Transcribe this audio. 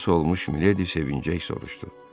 Xilas olunmuş Mileydi sevinclə ik soruşdu.